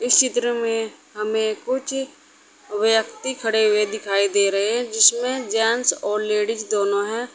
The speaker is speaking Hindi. इस चित्र में हमें कुछ व्यक्ति खड़े हुए दिखाई दे रहे हैं जिसमें जेंट्स और लेडीज दोनों है।